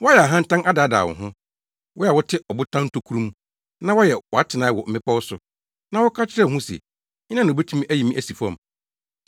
Wayɛ ahantan adaadaa wo ho, Wo a wote abotan ntokuru mu na woayɛ wʼatenae wɔ mmepɔw so, na woka kyerɛ wo ho se, ‘Hena na obetumi ayi me asi fam?’